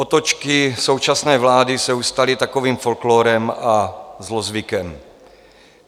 Otočky současné vlády se už staly takovým folklórem a zlozvykem.